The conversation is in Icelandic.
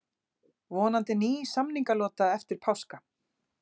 Vonandi ný samningalota eftir páska